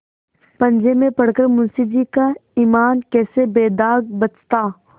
पंजे में पड़ कर मुंशीजी का ईमान कैसे बेदाग बचता